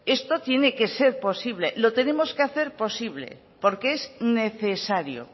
esto tiene que ser posible lo tenemos que hacer posible porque es necesario